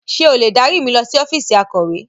Ṣé o lè dárí mi lọ sí ọ́fíìsì akọ̀we?